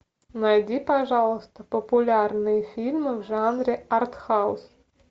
найди пожалуйста популярные фильмы в жанре артхаус